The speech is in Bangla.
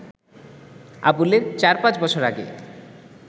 আবুলের চার-পাঁচ বছর আগে